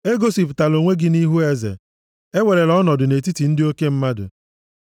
Egosipụtala onwe gị nʼihu eze, ewerela ọnọdụ nʼetiti ndị oke mmadụ,